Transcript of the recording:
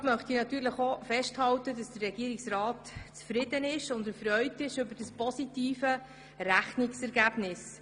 Vorab möchte ich festhalten, dass der Regierungsrat zufrieden und erfreut ist über das positive Rechnungsergebnis.